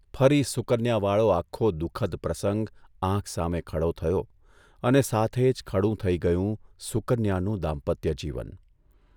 ફરી સુકન્યાવાળો આખો દુઃખદ પ્રસંગ આંખ સામે ખડો થયો અને સાથે જ ખડું થઇ ગયું સુકન્યાનું દામ્પત્યજીવન.